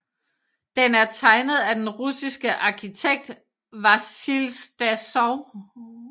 Den er tegnet af den russiske arkitekt Vasilij Stasov